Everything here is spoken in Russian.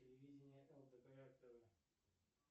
телевидение лдпр тв